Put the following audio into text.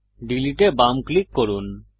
delete এ বাম click করুন